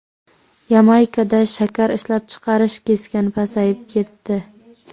Yamaykada shakar ishlab chiqarish keskin pasayib ketdi.